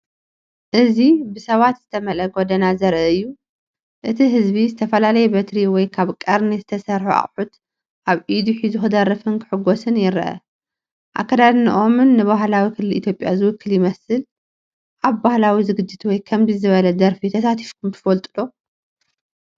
እዚ ብሰባት ዝተመልአ ጎደና ዘርኢ እዩ። እቲ ህዝቢ ዝተፈላለየ በትሪ ወይ ካብ ቀርኒ ዝተሰርሑ ኣቑሑት ኣብ ኢዱ ሒዙ ክደርፍን ክሕጎስን ይረአ። ኣከዳድናኦም ንባህላዊ ክልል ኢትዮጵያ ዝውክል ይመስል። ኣብ ባህላዊ ዝግጅት ወይ ከምዚ ዝበለ ደርፊ ተሳቲፍኩም ትፈልጡ ዶ?